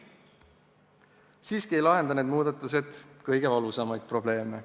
Siiski ei lahendaks need muudatused kõige valusamaid probleeme.